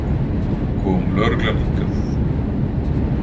Kom lögreglan hingað?